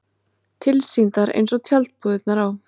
Tilsýndar eins og tjaldbúðirnar á